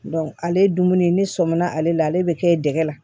ale ye dumuni ne sɔminna ale la ale be kɛ dɛgɛ la